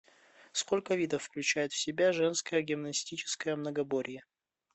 сколько видов включает в себя женское гимнастическое многоборье